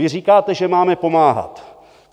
Vy říkáte, že máme pomáhat.